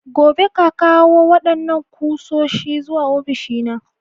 Gobe, ƙa ƙawo wadannan kusoshi zuwa ofishina!